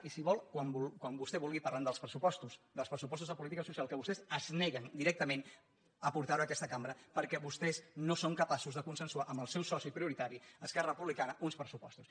i si vol quan vostè vulgui parlem dels pressupostos dels pressupostos de política social que vostès es neguen directament a portar·los a aques·ta cambra perquè vostès no són capaços de consensuar amb el seu soci prioritari esquerra republicana uns pressupostos